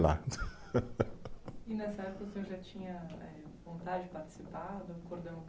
Lá. E nessa época o senhor já tinha eh, vontade de participar do cordão?